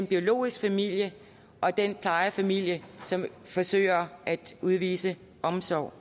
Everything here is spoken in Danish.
biologiske familie og den plejefamilie som forsøger at udvise omsorg